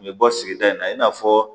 N bɛ bɔ sigida in na i n'a fɔ